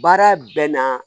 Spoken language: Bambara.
Baara bɛ na